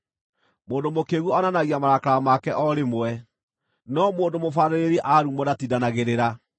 Mũndũ mũkĩĩgu onanagia marakara make o rĩmwe, no mũndũ mũbaarĩrĩri aarumwo ndatindanagĩrĩra.